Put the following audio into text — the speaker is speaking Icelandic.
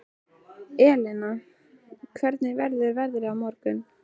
Elina, hvernig verður veðrið á morgun?